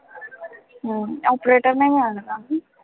हम्म operator नाही मिळाला का